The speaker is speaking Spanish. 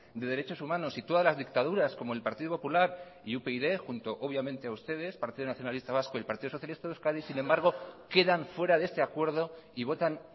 de derechos humanos y todas las dictaduras como el partido popular y upyd junto obviamente a ustedes partido nacionalista vasco y el partido socialista de euskadi sin embargo quedan fuera de este acuerdo y votan